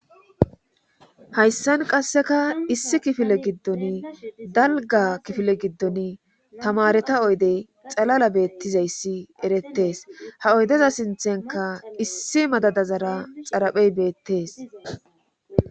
hayssan qasseka issi kifile giddon dalga kifile giddon tamareta oydey xalala beettizayssi erettees ha oydeza sinthenka issi madadazara xaraphey beettees